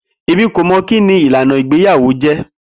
Emi ko mọ kini ilana igbeyawo jẹ.